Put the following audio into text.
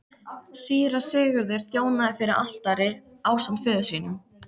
Síra Sigurður þjónaði fyrir altari ásamt föður sínum.